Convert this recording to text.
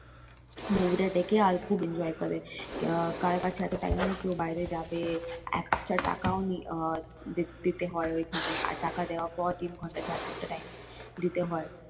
movie টা দেখে আর খুব enjoy করে কারো কাছে এত time নেই কিও বাইরে যাবে একটা টাকাও দিতে হয় ওই খানে আর টাকা দেওয়ার পর তিন ঘন্টা চার ঘন্টা time দিতে হয়।